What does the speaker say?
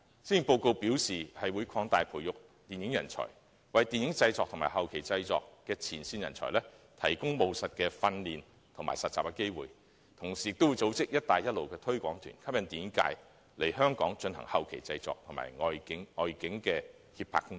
施政報告表示會擴大培育電影人才，為電影業的製作和後期製作的前線人才提供務實的訓練和實習機會，同時會組織"一帶一路"推廣團，吸引電影界來港進行後期製作和外景及協拍工作。